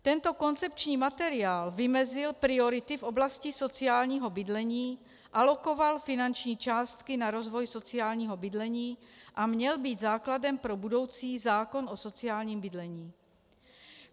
Tento koncepční materiál vymezil priority v oblasti sociálního bydlení, alokoval finanční částky na rozvoj sociálního bydlení a měl být základem pro budoucí zákon o sociálním bydlení.